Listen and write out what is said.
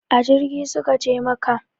A jirgi su ka je makka